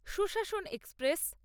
সুশাসন এক্সপ্রেস